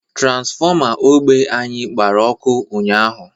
Tranfọma ogbe anyi gbara ọkụ ụnyahụ